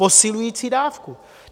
Posilující dávku.